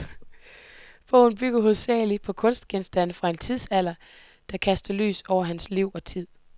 Bogen bygger hovedsagelig på kunstgenstande fra den tidsalder, der kaster lys over hans liv og tid.